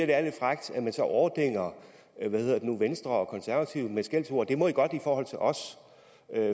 det er lidt frækt at man så overdænger venstre og konservative med skældsord det må enhedslisten godt i forhold til os